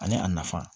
Ani a nafa